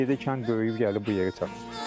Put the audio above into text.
Ged yerdə kənd böyüyüb gəlib bu yerə çıxıb.